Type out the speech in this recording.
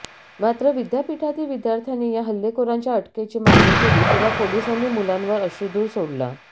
मात्र विद्यापीठातील विद्यार्थ्यांनी या हल्लेखोरांच्या अटकेची मागणी केली तेव्हा पोलिसांनी मुलांवर अश्रुधूर सोडला